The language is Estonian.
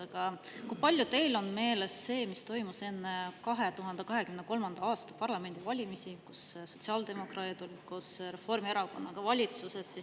Aga kui palju teil on meeles see, mis toimus enne 2023. aasta parlamendivalimisi, kui sotsiaaldemokraadid olid koos Reformierakonnaga valitsuses?